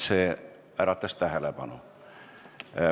See äratas tähelepanu.